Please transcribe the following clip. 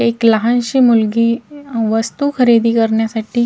एक लहानशी मुलगी वस्तू खरेदी करण्यासाठी --